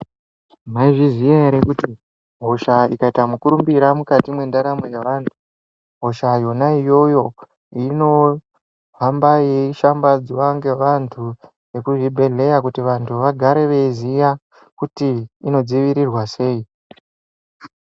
Mwaizviziya ere kuti hosha ikaita mukurumbira mukati mwendaramo yevantu, hosha yona iyoyo inohamba yeishambadzwa ngevantu vekuzvibhedlera kuti vantu vagare veiziya kuti inodzivirirwa sei.